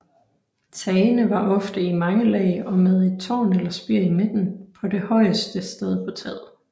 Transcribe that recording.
Tagene var ofte i mange lag og med et tårn eller spir i midten på det højeste sted på taget